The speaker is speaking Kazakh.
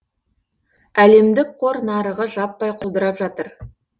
әлемдік қор нарығы жаппай құлдырап жатыр